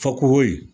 Fakohoye